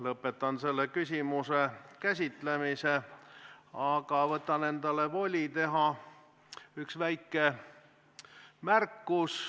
Lõpetan selle küsimuse käsitlemise, aga võtan endale voli teha üks väike märkus.